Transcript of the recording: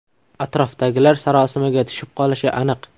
Atrofdagilar sarosimaga tushib qolishi aniq.